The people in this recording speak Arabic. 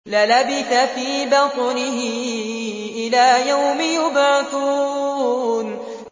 لَلَبِثَ فِي بَطْنِهِ إِلَىٰ يَوْمِ يُبْعَثُونَ